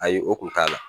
Ayi o kun t'a la